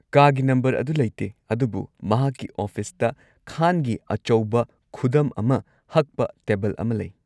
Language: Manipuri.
ꯀꯥꯒꯤ ꯅꯝꯕꯔ ꯑꯗꯨ ꯂꯩꯇꯦ, ꯑꯗꯨꯕꯨ ꯃꯍꯥꯛꯀꯤ ꯑꯣꯐꯤꯁꯇ ꯈꯥꯟꯒꯤ ꯑꯆꯧꯕ ꯈꯨꯗꯝ ꯑꯃ ꯍꯛꯄ ꯇꯦꯕꯜ ꯑꯃ ꯂꯩ꯫